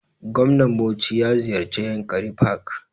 Gwamnan bauchi ya ziyarce yankari park